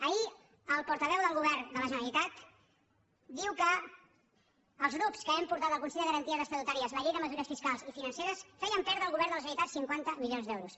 ahir el portaveu del govern de la generalitat diu que els grups que hem portat al consell de garanties estatutàries la llei de mesures fiscals i financeres fèiem perdre al govern de la generalitat cinquanta milions d’euros